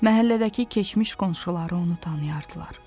Məhəllədəki keçmiş qonşuları onu tanıyardılar.